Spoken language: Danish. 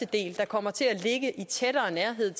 del der kommer til at ligge tættere ved